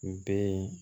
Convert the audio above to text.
N bɛ yen